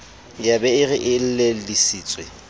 ya be e re elellisitswe